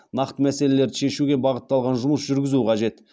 нақты мәселелерді шешуге бағытталған жұмыс жүргізу қажет